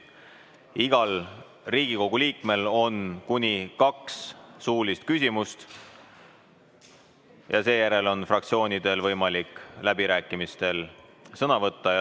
Iga Riigikogu liige saab esitada kuni kaks suulist küsimust ja seejärel on fraktsioonidel võimalik läbirääkimistel sõna võtta.